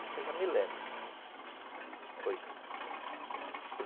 Isso eu já me lembro, foi